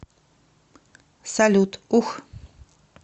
салют ух